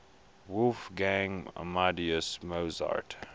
wolfgang amadeus mozart